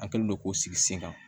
An kɛlen don k'o sigi sen kan